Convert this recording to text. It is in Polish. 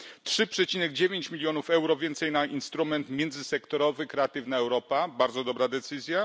3,9 mln euro więcej na instrument międzysektorowy Kreatywna Europa bardzo dobra decyzja.